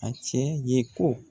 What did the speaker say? A tiɲɛ ye ko